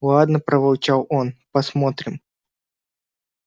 ладно проворчал он посмотрим